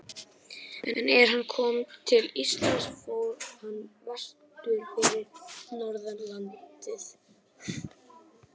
En er hann kom til landsins fór hann vestur fyrir norðan landið.